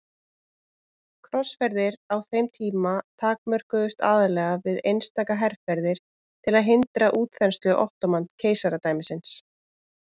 Krossferðir á þeim tíma takmörkuðust aðallega við einstaka herferðir til að hindra útþenslu Ottóman-keisaradæmisins.